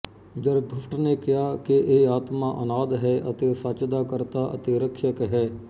Zarathustra ਨੇ ਕਿਹਾ ਕਿ ਇਹ ਆਤਮਾ ਅਨਾਦਿ ਹੈ ਅਤੇ ਸੱਚ ਦਾ ਕਰਤਾ ਅਤੇ ਰੱਖਿਅਕ ਹੈ